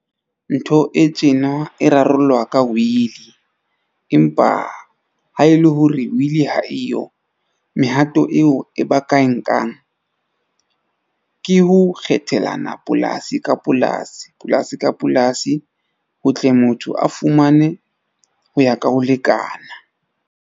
Ntho e tjena e rarollwa ka will-i. Empa ha e le hore will-i ha eyo, mehato eo e ba ka e nkang ke ho kgethelana polasi ka polasi. Ka ska polasi ho tle motho a fumane ho ya ka ho lekana.